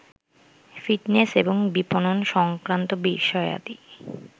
fitness এবং বিপনন সংক্রান্ত বিষয়াদি